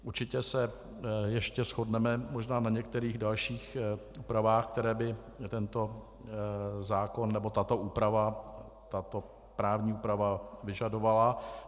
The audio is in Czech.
Určitě se ještě shodneme možná na některých dalších úpravách, které by tento zákon nebo tato právní úprava vyžadovala.